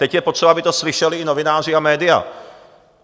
Teď je potřeba, aby to slyšeli i novináři a média.